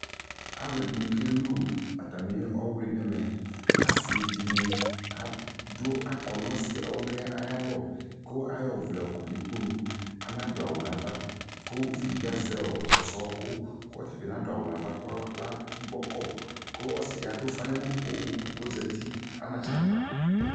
alʋɛdini kɛlʋ atami ɔwli nʋ ɛmɛ, asii dini adʋ akɔ nʋ ɔwliɛ ayialɔ kʋ ayɔ ɔvlɛ yɔkɔ nʋikpɔnʋ, anadʋ awʋ nʋ aɣa kʋ ʋvi dibi azɛ kpɔsɔ ɔkʋ kʋ ɔtabi nadʋ awʋ nʋ aɣa kʋ al gbɔ kɔ kʋ ɔsii di adʋ ʋƒa nʋ ala pɔɔm kʋɔzati anatsɛ akpa